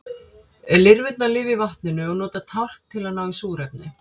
lirfurnar lifa í vatninu og nota tálkn til að ná í súrefni